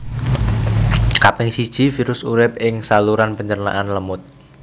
Kaping siji virus urip ing saluran pencernaan lemut